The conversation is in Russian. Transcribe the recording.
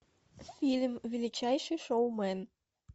фильм величайший шоумен